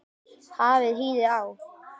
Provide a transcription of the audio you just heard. Hafið hýðið á.